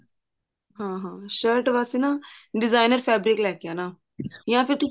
ਹਾਂ ਹਾਂ shirt ਵਾਸਤੇ ਨਾ designer fabric ਲੈਕੇ ਆਉਣਾ ਜਾਂ ਫਿਰ